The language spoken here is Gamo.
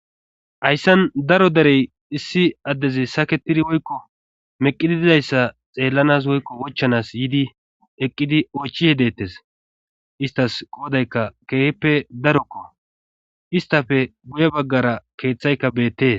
hayssan daro derey issi addezi saketidi woykko meqidi dizayssa xeellanas woykko wochchanas yidi eqqidi oychihe deetes istas qoodayka keehippe darokko istafe buye baggara keeththayka beettee